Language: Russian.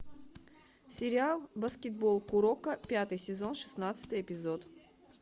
сериал баскетбол куроко пятый сезон шестнадцатый эпизод